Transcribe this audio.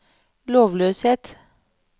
lovløshet